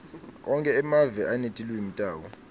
onkhe emave anetilwimi tawo